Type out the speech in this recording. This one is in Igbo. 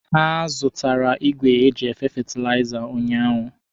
Ha zụtara igwe eji efe fetilaiza ụnyaahụ.